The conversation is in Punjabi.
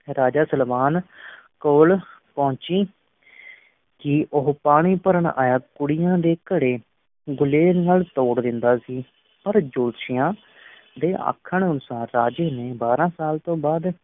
ਰਾਜਾ ਸਲਵਾਨ ਕੋਲ ਪਹੁੰਚੀ ਕਿ ਉਹ ਪਾਣੀ ਭਰਨ ਆਈਆਂ ਕੁੜੀਆਂ ਦੇ ਘੜੇ ਗੁਲੇਲ ਨਾਲ ਤੋੜ ਦਿੰਦਾ ਸੀ, ਪਰ ਜੋਤਸ਼ੀਆਂ ਦੇ ਆਖਣ ਅਨੁਸਾਰ ਰਾਜੇ ਨੇ ਬਾਰਾਂ ਸਾਲ ਤੋਂ ਬਾਅਦ